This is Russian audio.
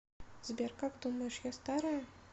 сбер как думаешь я старая